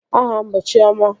Aha m bụ Chiọma